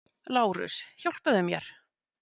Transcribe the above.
LÁRUS: Hjálpaðu mér!